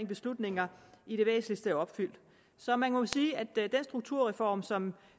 beslutninger i det væsentligste er opfyldt så man må jo sige at den strukturreform som